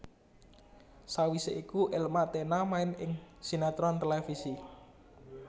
Sawisé iku Elma Thena main ing sinetron televisi